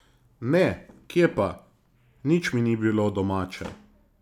Ne, kje pa, nič mi ni bilo domače.